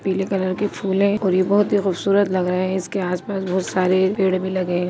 पीले कलर के फूल हैं और ये बहोत ही खूबसूरत लग रहे हैं इसके आसपास बहोत सारे पेड़ भी लगे हैं।